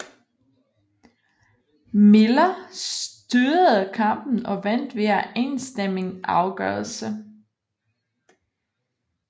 Miller styrede kampen og vandt via enstemmig afgørelse